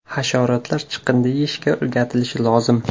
Hasharotlar chiqindi yeyishga o‘rgatilishi lozim.